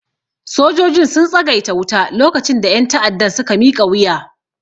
Sojojin sun tsagaita wuta lokacin da ƴan ta'addan suka miƙa wuya